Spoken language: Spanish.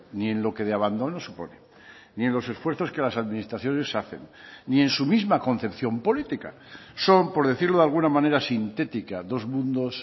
ni en lo que de abandono supone ni en los esfuerzos que las administraciones hacen ni en su misma concepción política son por decirlo de alguna manera sintética dos mundos